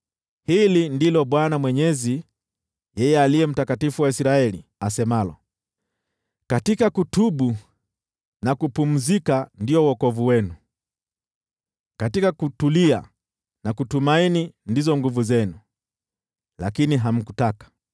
Hili ndilo Bwana Mwenyezi, yeye Aliye Mtakatifu wa Israeli, asemalo: “Katika kutubu na kupumzika ndio wokovu wenu, katika kutulia na kutumaini ndizo nguvu zenu, lakini hamkutaka.